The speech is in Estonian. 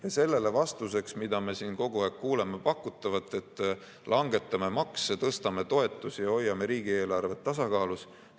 Ja sellele vastuseks, mida me siin kogu aeg kuuleme, pakutakse, et langetame makse, tõstame toetusi ja hoiame riigieelarvet tasakaalus.